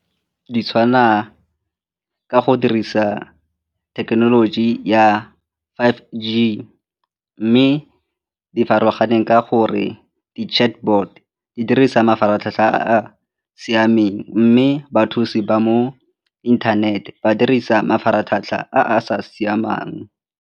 Di tshwana ka go dirisa thekenoloji ya five G mme di farologane ka gore di-chatbot di dirisa mafaratlhatlha a a siameng mme bathusi ba mo inthanete ba dirisa mafaratlhatlha a sa siamang.